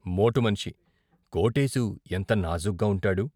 మోటు మనిషి కోటేశు ఎంత నాజూగ్గా ఉంటాడు।